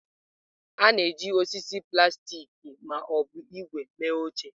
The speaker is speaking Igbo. A na-eji osisi, plastik ma ọ bụ ígwè mee oche.